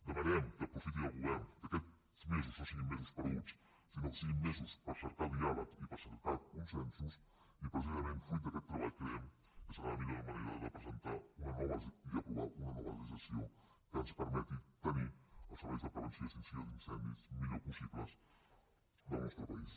demanem que aprofiti el govern que aquests mesos no siguin mesos perduts sinó que siguin mesos per cercar diàleg i per cercar consensos i precisament fruit d’aquest treball creiem que serà la millor manera de presentar i aprovar una nova legislació que ens per·meti tenir els serveis de prevenció i extinció d’incen·dis millors possibles del nostre país